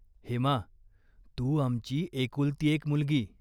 हेमा, तू आमची एकुलती एक मुलगी.